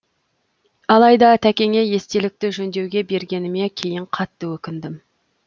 алайда тәкеңе естелікті жөндеуге бергеніме кейін қатты өкіндім